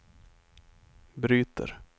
bryter